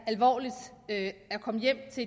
alvorligt at komme hjem til